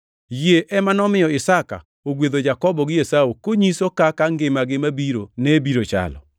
Yie ema nomiyo Isaka ogwedho Jakobo gi Esau konyiso kaka ngimagi mabiro ne biro chalo.